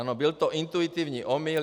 Ano, byl to intuitivní omyl.